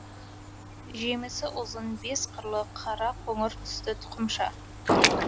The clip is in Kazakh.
жемісі ұзын бес қырлы қара қоңыр түсті тұқымша